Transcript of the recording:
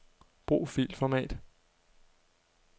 Brug filformat.